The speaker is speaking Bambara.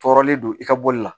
Tɔɔrɔlen don i ka bɔli la